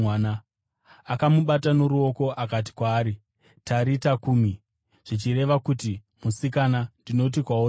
Akamubata noruoko akati kwaari, “Tarita kumi!” (zvichireva kuti, “Musikana, ndinoti kwauri, muka!”)